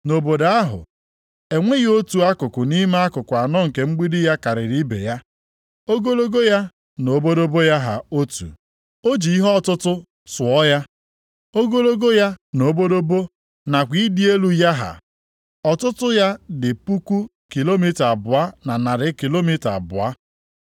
Nʼobodo ahụ, enweghị otu akụkụ nʼime akụkụ anọ nke mgbidi ya karịrị ibe ya. Ogologo ya na obodobo ya ha otu. O ji ihe ọtụtụ tụọ ya, ogologo ya na obodobo nakwa ịdị elu ya ha, ọtụtụ ya dị puku kilomita abụọ na narị kilomita abụọ. + 21:16 Ya bụ otu puku na narị maịlụ anọ.